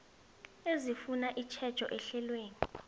ezifuna itjhejo ehlelweni